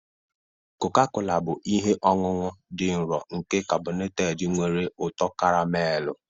Koka-kola bụ ihe ọṅụṅụ dị nro nke karbonated nwere ụtọ karamelu.